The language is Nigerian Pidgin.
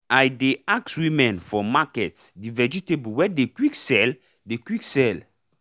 i dey ask women for market the vegatable wey dey quick sell dey quick sell